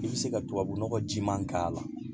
I bɛ se ka tubabunɔgɔ jiman k'a la